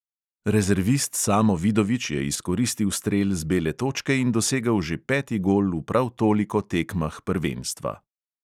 Rezervist samo vidovič je izkoristil strel z bele točke in dosegel že peti gol v prav toliko tekmah prvenstva.